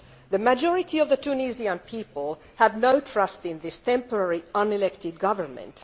The majority of the Tunisian people have no trust in this temporary, unelected government.